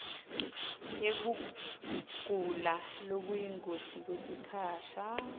yekugula lokuyingoti kwesikhasha